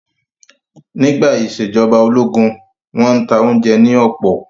Nígbà ìṣèjọba ológun, wọ́n n ta oúnjẹ ní ọ̀pọ̀